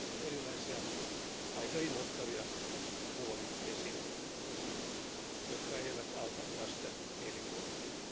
On erilaisia aika inhottavia muoviesineitä, jotka eivät auta lasten mielikuvitusta.